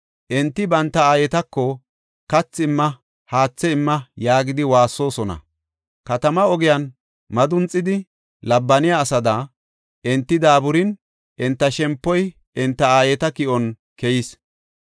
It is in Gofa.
Enti banta aayetako, “Kathi imma! haathe imma” yaagidi waassoosona; katamaa ogiyan madunxidi labbaniya asada, enti daaburin enta shempoy enta aayeta ki7on keyees.